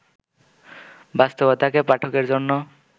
বাস্তবতাকে পাঠকের জন্য